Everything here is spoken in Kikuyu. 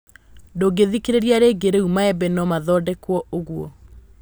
Ndũngĩthikĩrĩria rĩngĩ Rĩu maembe nomathondekwo nguo?